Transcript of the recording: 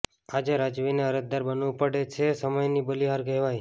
આજે રાજવીને અરજદાર બનવુ પડે છે સમયની બલીહાર કહેવાય